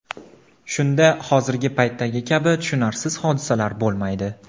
Shunda hozirgi paytdagi kabi tushunarsiz hodisalar bo‘lmaydi.